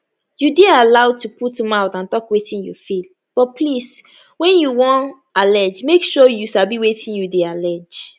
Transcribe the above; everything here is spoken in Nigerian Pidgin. you dey allowed to put mouth and tok wetin you feel but please wen you wanallegemake sure say you sabi wetin you deyallege